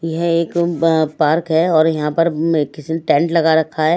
यह एक पार्क है और यहां पर किसी ने टेंट लगा रखा है।